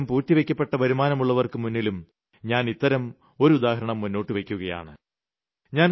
കണക്കിലധികം പൂഴ്ത്തിവയ്ക്കപ്പെട്ട വരുമാനമുള്ളവർക്ക് മുന്നിലും ഞാൻ ഇത്തരം ഒരു ഉദാഹരണം മുന്നോട്ടു വയ്ക്കുകയാണ്